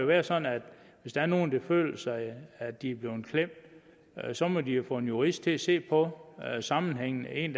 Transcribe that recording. være sådan at hvis der er nogen der føler at at de er blevet klemt så må de jo få en jurist at se på sammenhængen en